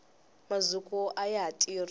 mazukwa ayaha tirhi